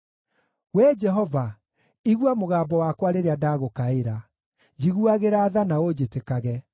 Wee Jehova, igua mũgambo wakwa rĩrĩa ndagũkaĩra; njiguagĩra tha na ũnjĩtĩkage.